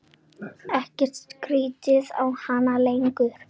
Ekkert stríddi á hann lengur.